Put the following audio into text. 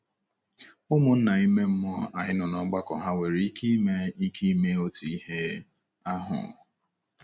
Ụmụnna ime mmụọ anyị nọ n'ọgbakọ hà nwere ike ime ike ime otu ihe ahụ?